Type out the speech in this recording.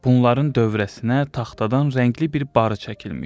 Bunların dövrəsinə taxtadan rəngli bir barı çəkilmişdi.